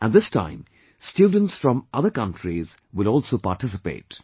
And this time, students from other countries will also participate